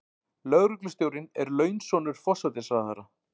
Lögreglustjórinn er launsonur forsætisráðherra.